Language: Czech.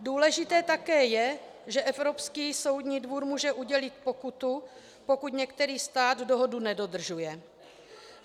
Důležité také je, že Evropský soudní dvůr může udělit pokutu, pokud některý stát dohodu nedodržuje.